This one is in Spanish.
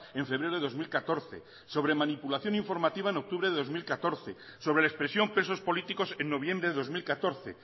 en febrero de dos mil catorce sobre manipulación informativa en octubre de dos mil catorce sobre la expresión presos políticos en noviembre de dos mil catorce